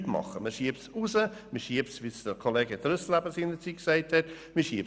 Man schiebt es hinaus, man schiebt es – wie es Kollege Trüssel gesagt hat – vor sich hin.